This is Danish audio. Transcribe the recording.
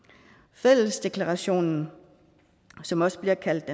fællesdeklarationen som også bliver kaldt